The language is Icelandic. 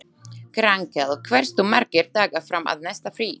Grankell, hversu margir dagar fram að næsta fríi?